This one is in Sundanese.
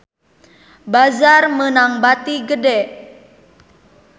Bazaar meunang bati gede